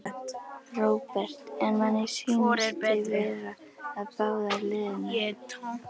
Róbert: En manni sýnist þið vera að fara báðar leiðirnar?